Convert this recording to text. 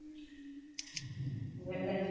noise ଅମ୍ବେ ଲେ